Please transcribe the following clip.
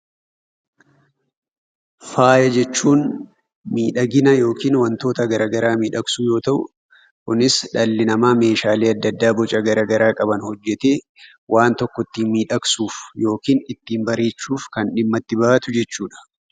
Faaya jechuun miidhagina yookiin wantoota garagaraa miidhagsuu yoo ta'u Kunis dhalli namaa meeshaalee adda addaa Boca garagaraa qabu hojjettee waan tokko ittiin miidhagsuuf yookiin ittiin bareechuuf dhimma itti bahatu jechuudha